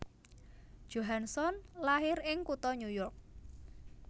Johansson lair ing kutha New York